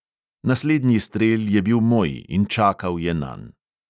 Naslednji strel je bil moj in čakal je nanj.